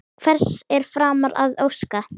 Hvers er framar að óska?